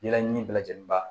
Yɛrɛɲini bɛɛ lajɛlen ba